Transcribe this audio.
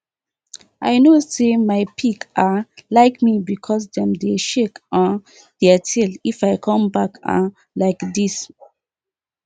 i know say my pig um like me because dem dey shake um their tail if i come back um like this